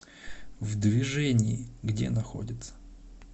в движении где находится